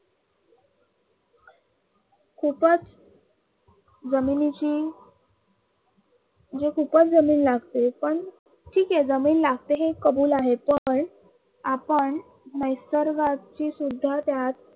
खूपच जमिनीतील खूपच जमीन लागते पण ठीक आहे जमीन लागते हे चांगल आहे पण आपण निसर्गाशी सुद्धा